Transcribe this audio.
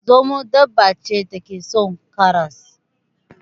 Zomo dabba ne da ke son karas.